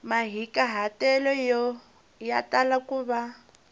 mahikahatelo ya tala ku va